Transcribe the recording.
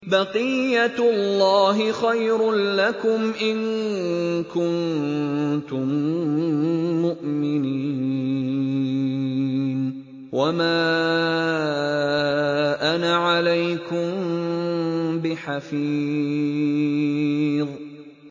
بَقِيَّتُ اللَّهِ خَيْرٌ لَّكُمْ إِن كُنتُم مُّؤْمِنِينَ ۚ وَمَا أَنَا عَلَيْكُم بِحَفِيظٍ